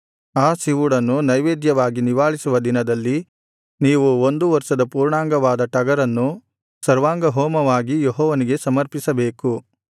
ಆ ಸಿವುಡನ್ನು ನೈವೇದ್ಯವಾಗಿ ನಿವಾಳಿಸುವ ದಿನದಲ್ಲಿ ನೀವು ಒಂದು ವರ್ಷದ ಪೂರ್ಣಾಂಗವಾದ ಟಗರನ್ನು ಸರ್ವಾಂಗಹೋಮವಾಗಿ ಯೆಹೋವನಿಗೆ ಸಮರ್ಪಿಸಬೇಕು